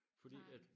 Fordi at